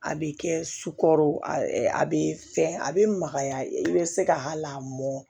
A bɛ kɛ sukaro a a bɛ fɛn a bɛ magaya i bɛ se ka hali a mɔn